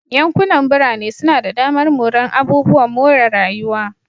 Yankunan birane suna da damar morar abubuwan more rayuwa.